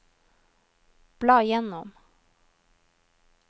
bla gjennom